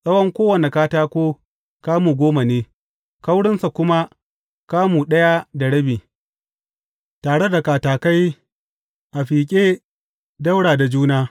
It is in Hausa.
Tsawon kowane katako kamu goma ne, kaurinsa kuma kamu ɗaya da rabi, tare da katakai a fiƙe ɗaura da juna.